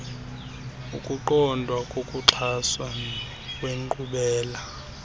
ukuqondwa kokuxhaswa kwenkqubela